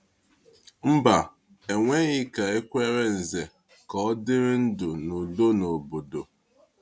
Mba, e nweghị ka e kwere Ǹzè ka ọ dịrị ndụ n’udo n’obodo.